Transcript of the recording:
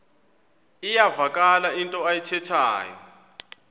iyavakala into ayithethayo